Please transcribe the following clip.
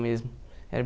mesmo. Era